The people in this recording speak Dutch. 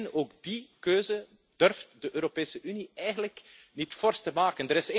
Maar nee, ook die keuze durft de Europese Unie eigenlijk niet fors te maken.